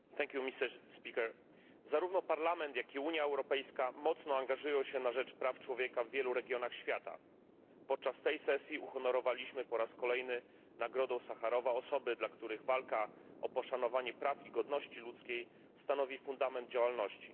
Panie Przewodniczący! Zarówno Parlament, jak i Unia Europejska mocno angażują się na rzecz praw człowieka w wielu regionach świata. Podczas tej sesji uhonorowaliśmy po raz kolejny Nagrodą Sacharowa osoby, dla których walka o poszanowanie praw i godności ludzkiej stanowi fundament działalności.